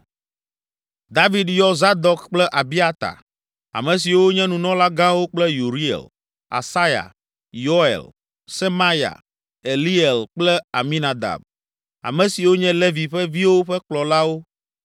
David yɔ Zadok kple Abiata, ame siwo nye Nunɔlagãwo kple Uriel, Asaya, Yoel, Semaya, Eliel kple Aminadab, ame siwo nye Levi ƒe viwo ƒe kplɔlawo